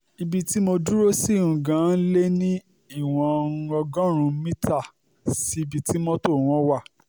ibi tí mo dúró sí um gan-an lé ní ìwọ̀n um ọgọ́rùn-ún mítà sí ibi tí mọ́tò wọn wà